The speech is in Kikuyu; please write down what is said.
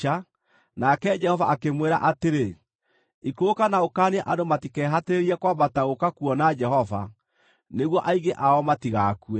nake Jehova akĩmwĩra atĩrĩ, “Ikũrũka na ũkaanie andũ matikehatĩrĩrie kwambata gũũka kuona Jehova, nĩguo aingĩ ao matigakue.